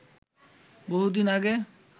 বহুদিন আগে